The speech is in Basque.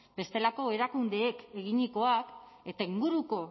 bestelako erakundeek eginikoak eta inguruko